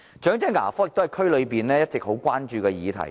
長者牙科也是區內一直備受關注的議題。